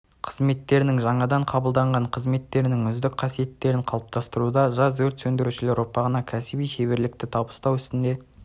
қызметтерінің жаңадан қабылданған қызметкерлерінің үздік қасиеттерін қалыптастыруда жас өрт сөндірушілер ұрпағына кәсіби шеберлікті табыстау ісінде